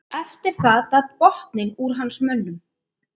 Eftir það datt botninn úr hans mönnum.